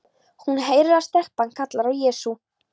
Hún heyrir að stelpan kallar á Jesú.